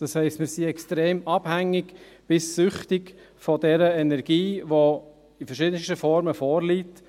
Das heisst, wir sind extrem abhängig bis süchtig von dieser Energie, die in verschiedensten Formen vorliegt.